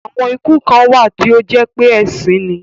Àwon iku kàn wà tí ó jépé èsín ni.